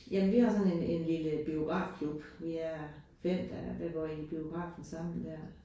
Jamen vi har sådan en en lille biografklub. Vi er 5, der ved går i dér